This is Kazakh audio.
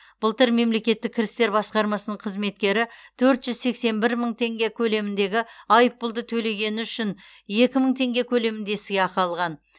былтыр мемлекеттік кірістер басқармасының қызметкері төрт жүз сексен бір мың тенге көлеміндегі айыппұлды төлегені үшін екі мың тенге көлемінде сыйақы алған